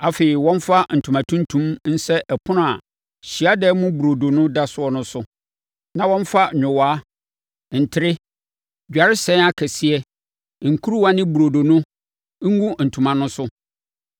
“Afei, wɔmfa ntoma tuntum nsɛ ɛpono a Hyiadan mu Burodo no da so no so, na wɔmfa nyowaa, ntere, dwaresɛn akɛseɛ, nkuruwa ne Burodo no ngu ntoma no so.